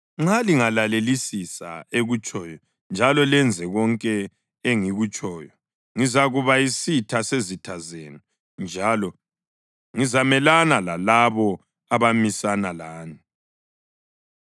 Nxa lingalalelisisa ekutshoyo njalo lenze konke engikutshoyo, ngizakuba yisitha sezitha zenu njalo ngizamelana lalabo abamisana lani.